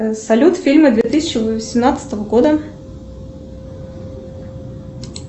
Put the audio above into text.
салют фильмы две тысячи восемнадцатого года